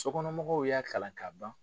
Sokɔnɔmɔgɔw y'a kalan ka ban